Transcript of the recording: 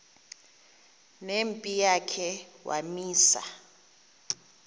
nempi yakhe wamisa